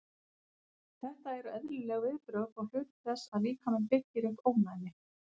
Þetta eru eðlileg viðbrögð og hluti þess að líkaminn byggir upp ónæmi.